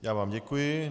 Já vám děkuji.